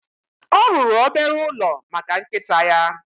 Ọ rụrụ obere ụlọ maka nkịta ya